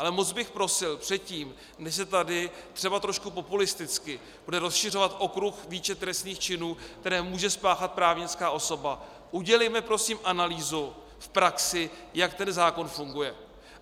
Ale moc bych prosil, předtím, než se tady třeba trošku populisticky bude rozšiřovat okruh, výčet trestných činů, které může spáchat právnická osoba, udělejme prosím analýzu v praxi, jak ten zákon funguje.